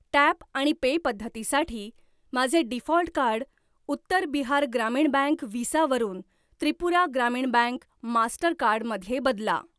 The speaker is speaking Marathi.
टॅप आणि पे पद्धतीसाठी माझे default card Uttar Bihar Gramin bank Visa वरून त्रिपुरा ग्रामीण बँक मास्टरकार्ड मध्ये बदला.